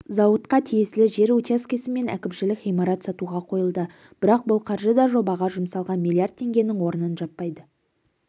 зауытқа тиесілі жер учаскесі мен әкімшілік ғимарат сатуға қойылды бірақ бұл қаржы да жобаға жұмсалған миллиард теңгенің орнын жаппайды